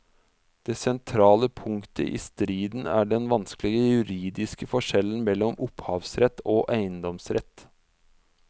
Det sentrale punktet i striden er den vanskelige juridiske forskjellen mellom opphavsrett og eiendomsrett.